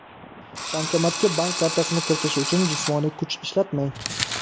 Bankomatga bank kartasini kiritish uchun jismoniy kuch ishlatmang.